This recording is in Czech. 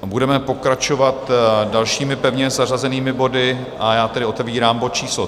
Budeme pokračovat dalšími pevně zařazenými body, a já tedy otevírám bod číslo